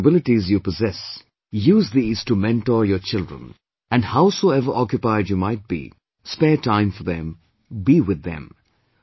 Whatever capabilities you posses, use these to mentor your children, and, howsoever occupied you might be, spare time for them, be with them